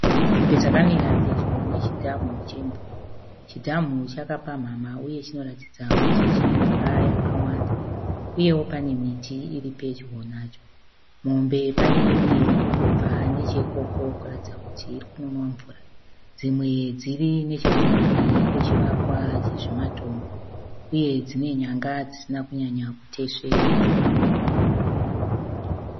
Mombe dzakamira pedyo nechidhamu chemvura. Chidhamu chakapamhamha uye chinoratidza kuti chine mvura yakawanda uyewo pane miti iri pedyo nacho. Mombe pane imwe kutobva necheikoko kuratidza kuti iri kunonwa mvura. Dzimwe dziri nechekumhiri kwechivakwa chezvimatombo uye dzine nyanga dzisina kunyanya kutesvera.